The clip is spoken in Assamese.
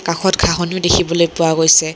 কাষত ঘাঁহনিও দেখিবলৈ পোৱা গৈছে।